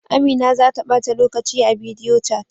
Amina za ta bata lokaci a bidiyochat.